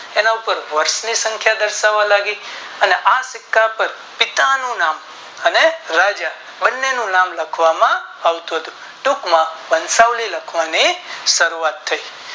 એના પર વર્ષ ની સંખ્યા દર્શાવવા લાગી અને આ સિક્કા પર કીટા નું ના અનેક રાજા બંનેનું નામ લખાવમાં આવતું હતું ટૂંક માં વંશાવલી લખવાની શરૂઆત થઈ